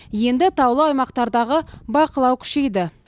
енді таулы аймақтардағы бақылау күшейді